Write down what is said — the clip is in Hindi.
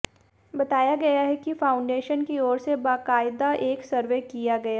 बताया गया है कि फाउंडेशन की ओर से बाकायदा एक सर्वे किया गया